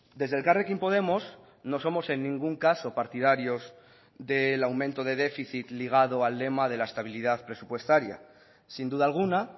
desde elkarrekin podemos no somos en ningún caso partidarios del aumento de déficit ligado al lema de la estabilidad presupuestaria sin duda alguna